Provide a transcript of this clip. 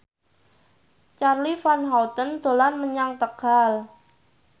Charly Van Houten dolan menyang Tegal